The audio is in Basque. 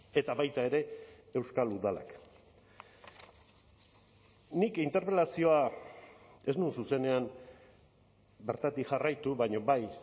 eta baita ere euskal udalak nik interpelazioa ez nuen zuzenean bertatik jarraitu baina bai